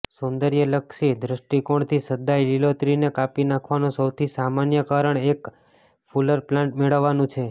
સૌંદર્યલક્ષી દૃષ્ટિકોણથી સદાય લીલોતરીને કાપી નાખવાનો સૌથી સામાન્ય કારણ એક ફુલર પ્લાન્ટ મેળવવાનું છે